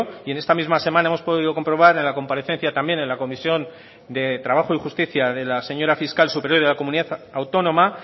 y en esta misma semana hemos podido comprobar en la comparecencia también en la comisión de trabajo y justicia de la señora fiscal superior de la comunidad autónoma